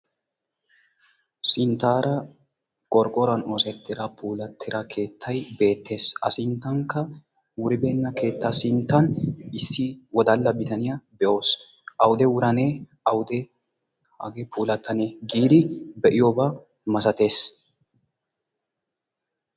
Sinttaara qorqqoruwaa oosettida puulattida keettay beettees. a sinttankka wuribenna keettaa sinttan issi wodalla bitaniyaa be'os. awude wuranee awude hagee puulattanee giidi be'iyooba masattees.